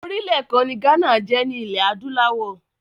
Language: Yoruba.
Orílẹ̀ kan ni Ghana jẹ́ ní ilé adúláwọ̀.